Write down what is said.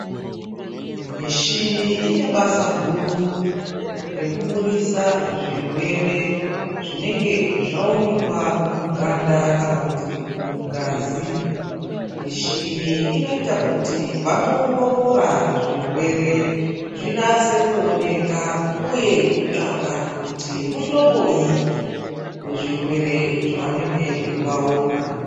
Mishini ine basa guru rekuburisa zvirwere zvinenge zvaonekwa muganda kana kuti mungazi. Mishini inoita kuti vanoongorora zvirwere zvinase kuoneka uye kutsvaka kuti muhloboyi wezvirwere zvavanenge vaona.